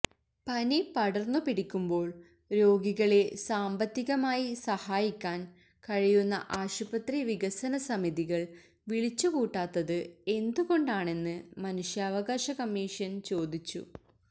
പനി പടർന്നു പിടിക്കുമ്പോൾ രോഗികളെ സാമ്പത്തികമായി സഹായിക്കാൻ കഴിയുന്ന ആശുപത്രി വികസന സമിതികൾ വിളിച്ചുകൂട്ടാത്തത് എന്തുകൊണ്ടാണെന്ന് മനുഷ്യാവകാശ കമ്മീഷൻ ചോദിച്ചു